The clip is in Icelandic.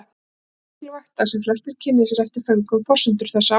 Það er því mikilvægt að sem flestir kynni sér eftir föngum forsendur þessara áforma.